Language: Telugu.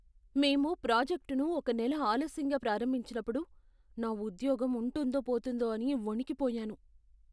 మేము ప్రాజెక్ట్ను ఒక నెల ఆలస్యంగా ప్రారంభించినప్పుడు, నా ఉద్యోగం ఉంటుందో పోతుందో అని వణికిపోయాను.